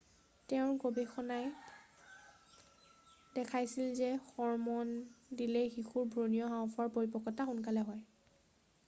তেওঁৰ গৱেষণাই দেখাইছিল যে হৰম'ন দিলে শিশুৰ ভ্ৰূণীয় হাওঁফাওঁৰ পৰিপক্কতা সোনকালে হয়